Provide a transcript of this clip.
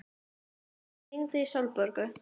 Oliver, hvað er lengi opið í Landbúnaðarháskólanum?